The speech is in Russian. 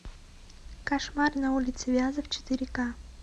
кошмар на улице вязов четыре ка